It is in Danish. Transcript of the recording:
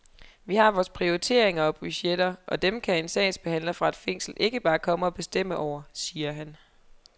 Vi har vores prioriteringer og budgetter, og dem kan en sagsbehandler fra et fængsel ikke bare komme og bestemme over, siger han.